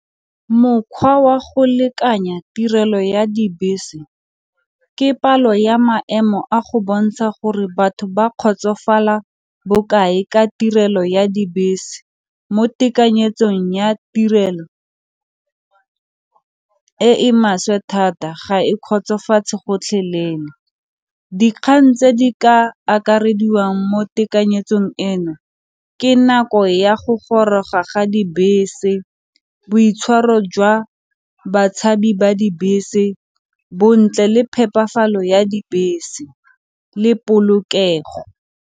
Mokgwa wa go lekanya tirelo ya dibese ke palo ya maemo a go bontsha gore batho ba kgotsofala bokae ka tirelo ya dibese mo tekanyetsong ya tirelo e e maswe thata ga e kgotsofatse gotlhelele. Dikgang tse di ka akarediwang mo tekanyetsong eno ke nako ya go goroga ga dibese boitshwaro jwa batshabi ba dibese, bontle le phepafalo ya dibese le polokego.